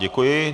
Děkuji.